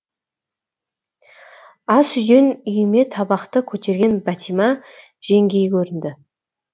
ас үйден үйме табақты көтерген бәтима жеңгей көрінді